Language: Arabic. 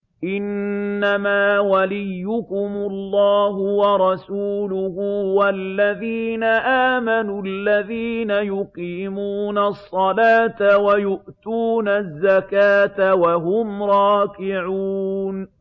إِنَّمَا وَلِيُّكُمُ اللَّهُ وَرَسُولُهُ وَالَّذِينَ آمَنُوا الَّذِينَ يُقِيمُونَ الصَّلَاةَ وَيُؤْتُونَ الزَّكَاةَ وَهُمْ رَاكِعُونَ